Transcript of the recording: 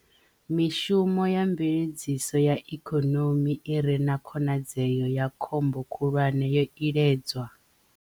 Mishumo ya mveledziso ya ikonomi i re na khonadzeo ya khombo khulwane yo iledzwa